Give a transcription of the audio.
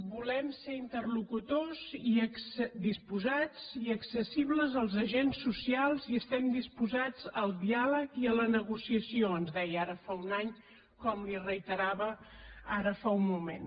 volem ser interlocutors disposats i accessibles als agents socials i estem disposats al diàleg i a la negociació ens deia ara fa un any com li reiterava ara fa un moment